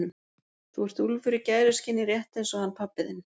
Þú ert úlfur í gæruskinni rétt eins og hann pabbi þinn.